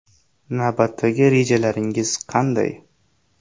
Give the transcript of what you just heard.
Navbatdagi rejalaringiz qanday?